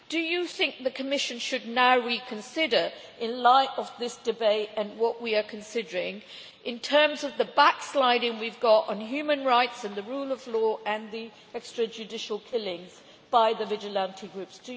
Do you think the Commission should now reconsider, in light of this debate and what we are considering in terms of the back-sliding we have got on human rights and the rule of law and the extrajudicial killings by vigilante groups?